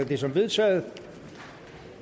det som vedtaget